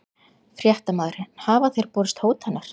Fréttamaður: En hafa þér borist hótanir?